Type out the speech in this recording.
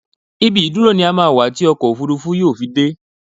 Ibi ìdúró ní á máa wà tí ọkọ̀ òfuurufú wà yóò fi dé